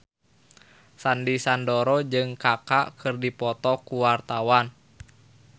Sandy Sandoro jeung Kaka keur dipoto ku wartawan